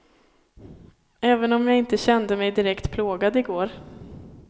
Även om inte jag kände mig direkt plågad i går.